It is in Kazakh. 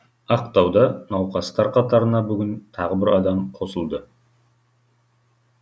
ақтауда науқастар қатарына бүгін тағы бір адам қосылды